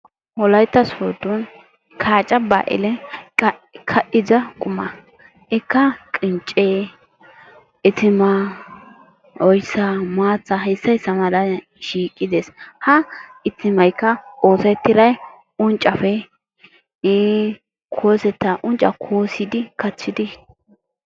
Wolaytta sooddo kaaca baalihee ka'ida qumaa, ikka qinccee, itimaa, oyssaa, maattaa hayssa issa malay shiiqidezzi. ha itimaykka oosetiray unccappe iin koosetta unccaa koosidi kattidi.